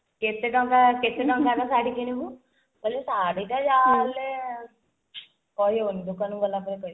କେତେ ଟଙ୍କା କେତେ ଟଙ୍କାର ଶାଢୀ କିଣିବୁ ସେଇ ଶାଢୀଟା ଯାହାହେଲେ କହି ହଉନି ଦୋକାନକୁ ଗଲା ପରେ କହିବି